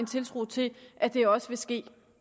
tiltro til at det også vil ske